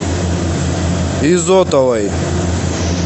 изотовой